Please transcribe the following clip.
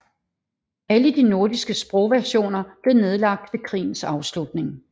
Alle de nordiske sprogversioner blev nedlagt ved krigens afslutning